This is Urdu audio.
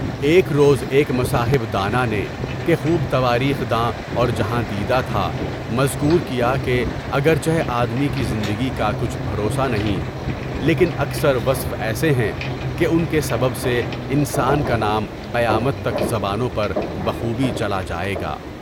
ایک روز ایک مصاحب دانانہ کہ خوب تواریخ دان اور جہاں دیدہ تھا، مذکور کیا کہ اگرچہ آدمی کی زندگی کا کچھ بھروسہ نہیں، لیکن اکثر وصف ایسے ہیں کہ ان کے سبب سے انسان کا نام قیامت تک زبانوں پر خوب چلا جائے گا۔